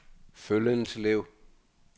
Føllenslev